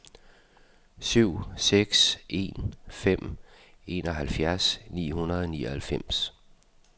syv seks en fem enoghalvfjerds ni hundrede og nioghalvfems